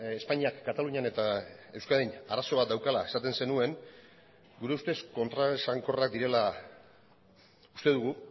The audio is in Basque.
espainiak katalunian eta euskadin arazo bat daukala esaten zenuen gure ustez kontraesankorrak direla uste dugu